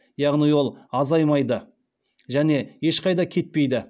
яғни ол азаймайды және ешқайда кетпейді